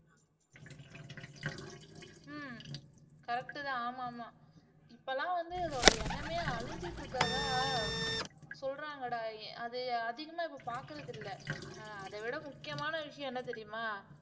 ஹம் கரெக்ட்தான ஆமா ஆமா இப்பல்லாம் வந்து அதோட இனமே அழிஞ்சிட்டு இருக்கிறதா சொல்றாங்கடா அது அதிகமா இப்போ பாக்குறது இல்லை ஆஹ் அதைவிட முக்கியமான விஷயம் என்ன தெரியுமா